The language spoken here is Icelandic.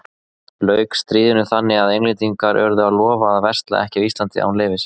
Lauk stríðinu þannig að Englendingar urðu að lofa að versla ekki á Íslandi án leyfis.